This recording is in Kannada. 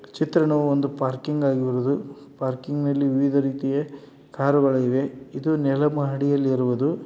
ಚಿತ್ರಣ ಒಂದು ಪಾರ್ಕಿಂಗ್ ಆಗಿ ಇರುವುದು. ಪಾರ್ಕಿಂಗ್ ನಲ್ಲಿ ವಿವಿಧ ರೀತಿಯ ಕಾರು ಗಳು ಇದೆ. ಇದು ನೆಲ ಮಹಡಿಯಲ್ಲಿರುವುದು.